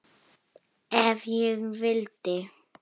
Ef ég vildi.